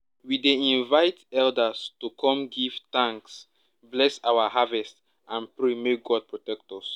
we dey invite elders to come give thanks bless our harvest and pray make god protect us